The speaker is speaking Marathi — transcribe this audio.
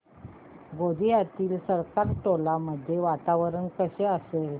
गोंदियातील सरकारटोला मध्ये वातावरण कसे असेल